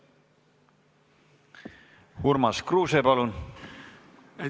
Urmas Kruuse, palun!